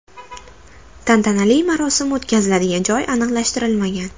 Tantanali marosim o‘tkaziladigan joy aniqlashtirilmagan.